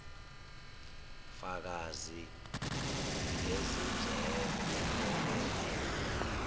fakazi bezindleko obe